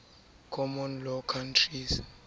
common law countries